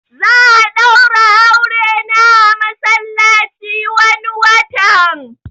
Za'a daura aure na a masallaci wani watan